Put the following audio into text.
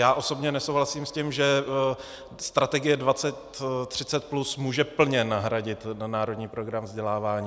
Já osobně nesouhlasím s tím, že Strategie 2030+ může plně nahradit Národní program vzdělávání.